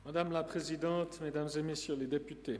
Darüber sollte man ein wenig nachdenken.